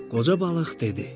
Qoca balıq dedi: